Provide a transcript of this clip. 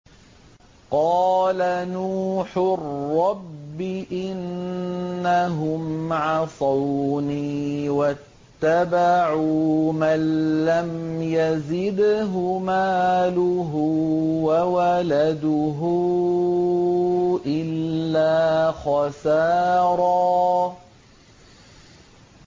قَالَ نُوحٌ رَّبِّ إِنَّهُمْ عَصَوْنِي وَاتَّبَعُوا مَن لَّمْ يَزِدْهُ مَالُهُ وَوَلَدُهُ إِلَّا خَسَارًا